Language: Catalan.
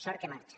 sort que marxa